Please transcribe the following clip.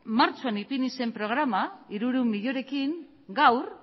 martxoan ipini zen programa hirurehun milioirekin gaur